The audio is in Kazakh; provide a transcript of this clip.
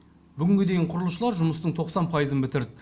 бүгінге дейін құрылысшылар жұмыстың тоқсан пайызын бітірді